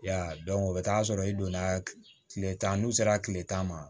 Ya o bɛ taa sɔrɔ i donna tile tan n'u sera tile tan ma